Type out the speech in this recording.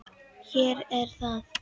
Hér er það!